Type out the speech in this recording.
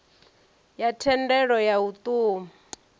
ya thendelo ya u ṱun